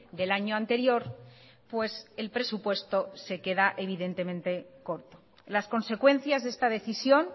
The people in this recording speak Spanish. del año anterior pues el presupuesto se queda evidentemente corto las consecuencias de esta decisión